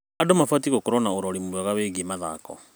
Andũ mabatiĩ gũkorwo na ũrori mwega wĩgiĩ mathako.